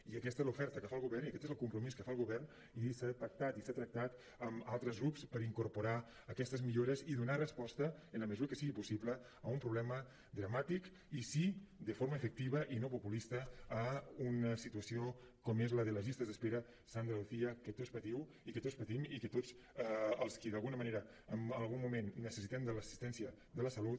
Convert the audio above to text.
i aquesta és l’oferta que fa el govern i aquest és el compromís que fa el govern i s’ha pactat i s’ha tractat amb altres grups per incorporar aquestes millores i donar resposta en la mesura que sigui possible a un problema dramàtic i sí de forma efectiva i no populista a una situació com és la de les llistes d’espera sandra lucía que tots patiu i que tots patim i que tots els qui d’alguna manera en algun moment necessitem l’assistència de la salut